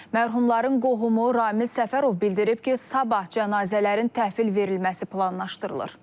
Mərhumların qohumu Ramil Səfərov bildirib ki, sabah cənazələrin təhvil verilməsi planlaşdırılır.